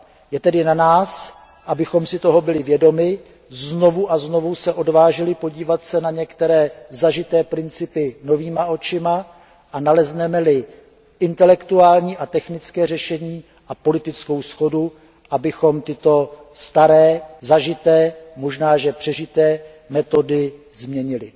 Je tedy na nás, abychom si toho byli vědomi, abychom se odvážili podívat se na některé zažité principy novýma očima a nalezneme li intelektuální a technické řešení a politickou shodu, abychom tyto staré, zažité, možná že až přežité metody změnili.